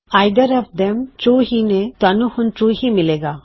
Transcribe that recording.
either of them true ਹੀ ਨੇ ਤੁਹਾਨੂੰ ਹੁਣ ਟਰੂ ਹੀ ਮਿਲੇਗਾ